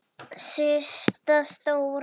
Systa stóra!